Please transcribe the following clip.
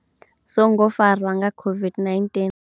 songo farwa nga COVID-19.